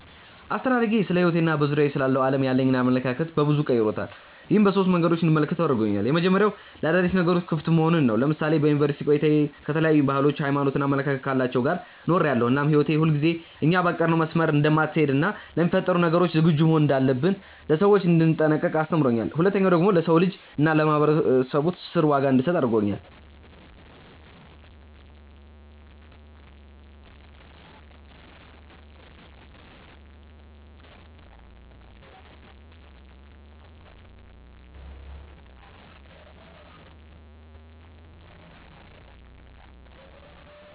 አስተዳደጌ ስለሕይወቴ እና በዙሪያዬ ስላለው ዓለም ያለኝን አመለካከት በበዙ ቀይሮታል። ይህም በሶስት መንገዶች እንድመለከተው አድርጎኛል። የመጀመሪያው ለአዳዲስ ነገሮች ክፍት መሆንን ነው። ለምሳሌ በዩኒቨርስቲ ቆይታዬ ከተለያዩ ባህሎች፣ ሃይማኖት እና አመለካከት ካላቸው ጋር ኖሬያለው እናም ህይወት ሁልጊዜ እኛ ባቀድነው መስመር እንደማትሀለድ እና ለሚፈጠሩ ነገሮች ዝግጁ መሆን እንዳለብኝ፣ ለሰዎች እንድጠነቀቅ አስተምሮኛል። ሁለተኛው ደግሞ ለሰው ልጅ እና ለማህበራዊ ትስስር ዋጋ እንድሰጥ አድርጎኛል።